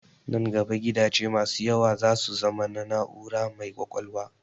Nan gaba gidaje da yawa za su zama na na'ura mai ƙwaƙwalwa.